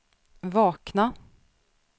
vakna